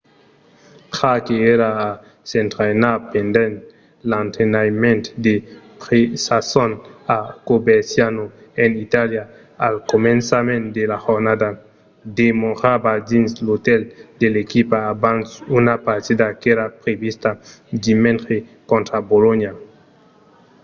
jarque èra a s'entrainar pendent l'entrainament de presason a coverciano en itàlia al començament de la jornada. demorava dins l'otèl de l'equipa abans una partida qu'èra prevista dimenge contra bolonha